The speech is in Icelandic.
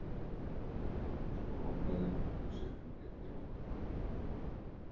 Svo ropaði hún út úr sér enn einni nótunni.